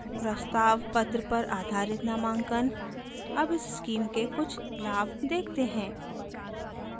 अब उस स्कीम के कुछ लाभ देखते हैं